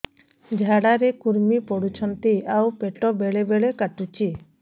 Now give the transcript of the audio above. ଝାଡା ରେ କୁର୍ମି ପଡୁଛନ୍ତି ଆଉ ପେଟ ବେଳେ ବେଳେ କାଟୁଛି